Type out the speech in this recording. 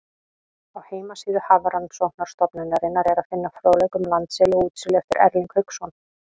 Á heimasíðu Hafrannsóknastofnunarinnar er að finna fróðleik um landseli og útseli eftir Erling Hauksson.